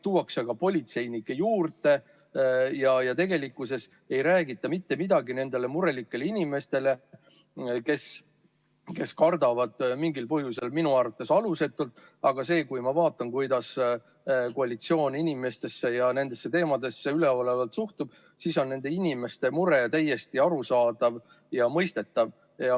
Tuuakse aga politseinikke juurde ja tegelikkuses ei räägita mitte midagi nendele murelikele inimestele, kes kardavad mingil põhjusel – minu arvates alusetult –, aga kui ma vaatan, kuidas koalitsioon inimestesse ja nendesse teemadesse üleolevalt suhtub, siis on nende inimeste mure täiesti arusaadav ja mõistetav.